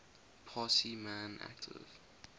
parsi man active